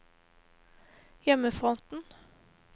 hjemmefronten